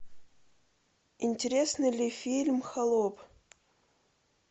интересный ли фильм холоп